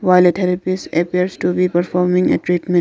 while a therapist appears to be performing a treatment.